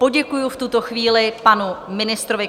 Poděkuji v tuto chvíli panu ministrovi.